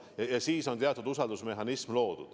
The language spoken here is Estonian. Selleks on loodud teatud usaldusmehhanism.